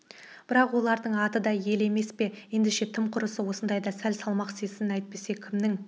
бірақ олардың аты да ел емес пе ендеше тым құрыса осындайда сәл салмақ сезсін әйтпесе кімнің